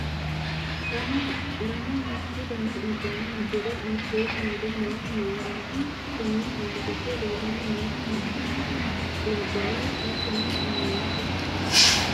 lamu lamu mittu dani uddano uddire mitteenni uurre noohu mayiiraati? konni manni giddo leelanni noohu me''e labbaho? hattono me''e meyaate?